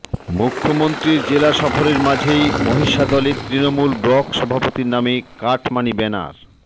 মুখ্যমন্ত্রীর জেলা সফরের মাঝেই মহিষাদলে তৃণমূল ব্লক সভাপতির নামে কাটমানি ব্যানার